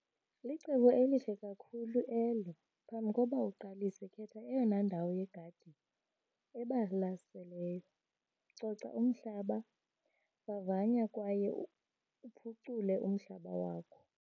Licebo elihle kakhulu elo. Phambi koba uqalise khetha eyona ndawo yegadi ebalaseleyo. Coca umhlaba, vavanya kwaye uphucule umhlaba wakho.